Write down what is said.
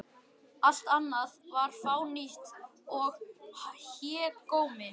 Allt annað var fánýti og hégómi.